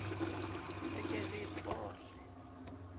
re ke re e tshohle